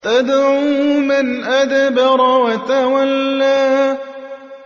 تَدْعُو مَنْ أَدْبَرَ وَتَوَلَّىٰ